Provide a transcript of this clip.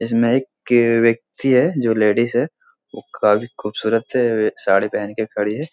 इसमें एक व्यक्ति है जो लेडिस है वो काफी खूबसूरत है वे साड़ी पहन के खड़ी है।